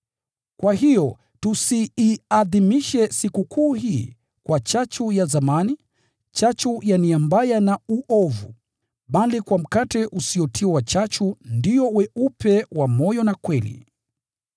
Kwa hiyo, tusiiadhimishe sikukuu hii, kwa chachu ya zamani, chachu ya nia mbaya na uovu, bali kwa mkate usiotiwa chachu, ndio weupe wa moyo na kweli.